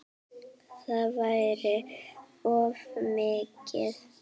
Það væri of mikið.